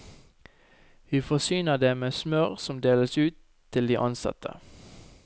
Vi forsyner det med smør som deles ut til de ansatte.